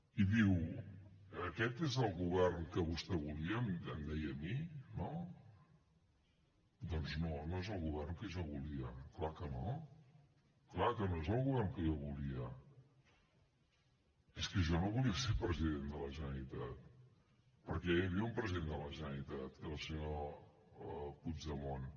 i diu aquest és el govern que vostè volia em deia a mi no doncs no no és el govern que jo volia clar que no clar que no és el govern que jo volia és que jo no volia ser president de la generalitat perquè ja hi havia un president de la generalitat que era el senyor puigdemont